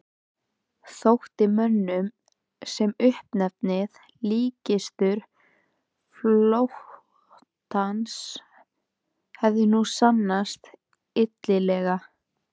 Þótti mönnum sem uppnefnið líkkistur flotans hefði nú sannast illilega.